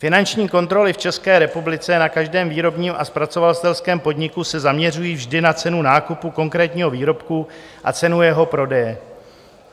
Finanční kontroly v České republice na každém výrobním a zpracovatelském podniku se zaměřují vždy na cenu nákupu konkrétního výrobku a cenu jeho prodeje.